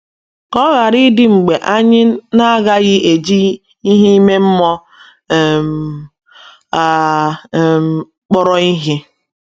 Ka ọ ghara ịdị mgbe anyị na - agaghị eji ìhè ime mmụọ um a um kpọrọ ihe!